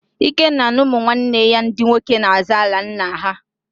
Ikenna na ụmụnwanne ya ndị nwoke na-azọ ala nna ha